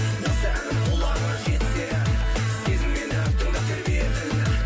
осы әнім құлағыңа жетсе сезіммен ән тыңдап тербетің